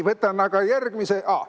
Võtame aga järgmise.